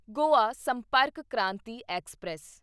Goa Sampark Kranti express